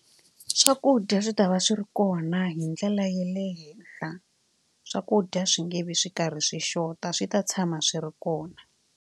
Swakudya swi ta va swi ri kona hi ndlela ya le henhla swakudya swi nge vi swi karhi swi xota swi ta tshama swi ri kona.